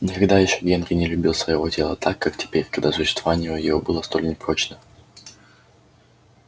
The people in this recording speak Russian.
никогда ещё генри не любил своего тела так как теперь когда существование его было столь непрочно